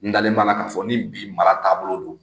N dalen b'a la k'a fɔ ni bi mara taabolo don